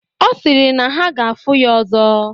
Ọ sịrị na ha ga-afụ ya ọzọ.